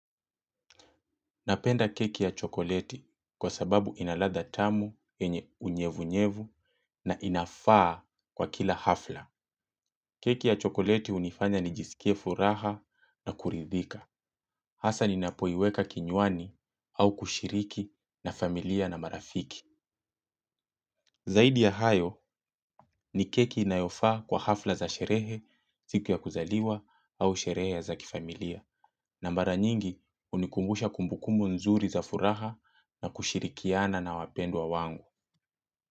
Napenda keki ya chokoleti kwa sababu ina ladha tamu, unyevu-nyevu na inafaa kwa kila hafla. Keki ya chokoleti hunifanya nijisikie furaha na kuridhika. Hasa ninapoiweka kinywani au kushiriki na familia na marafiki. Zaidi ya hayo ni keki inayofaa kwa hafla za sherehe siku ya kuzaliwa au sherehe za kifamilia. Na mara nyingi, hunikumbusha kumbukumbu nzuri za furaha na kushirikiana na wapendwa wangu.